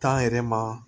yɛrɛ ma